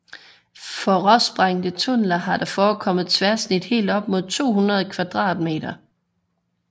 For råsprængte tunneler har der forekommet tværsnit helt op mod 200 m2